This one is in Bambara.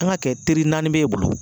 An ŋ'a kɛ teri naani b'e bolo